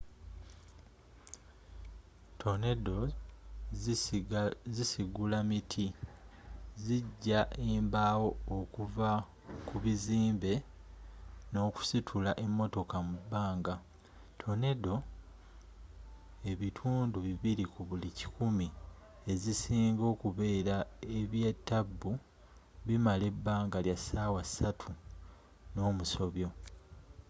tornadoes zisigula miti zijja embaawo okuva ku bizimbe n'okusitula emmotoka mu bbanga tornadoes ebitundu bibiri ku buli kikumi ezisinga okubeera ebyatabbu bimala ebbanga lya ssaawa ssatu n'omusobyo